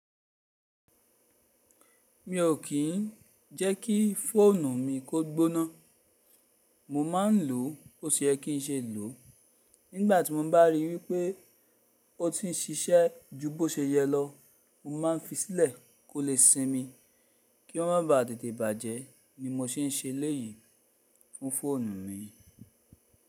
Mi ò kí n jẹ́ kí fóònù mi kó gbóná. Mo ma ń lò ó bó ṣe yẹ kí n ṣe lò o. Nígbà tí mo bá rí i wípé ó ti ń ṣiṣẹ́ ju bó ṣe yẹ lọ, mo ma ń fi sílẹ̀ kó lè sinmi. Kí ó má ba tètè bàjẹ́ ni mo se n ṣe eléyìí fún fóònù mi.